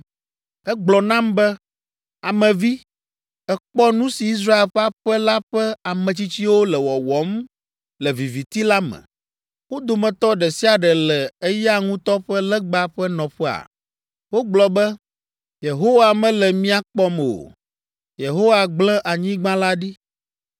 Egblɔ nam be, “Ame vi, èkpɔ nu si Israel ƒe aƒe la ƒe ametsitsiwo le wɔwɔm le viviti la me, wo dometɔ ɖe sia ɖe le eya ŋutɔ ƒe legba ƒe nɔƒea? Wogblɔ be, ‘Yehowa mele mía kpɔm o; Yehowa gble anyigba la ɖi.’ ”